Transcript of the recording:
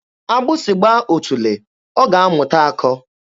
Agbụsị gbaa otule, ọ ga-amụta akọ.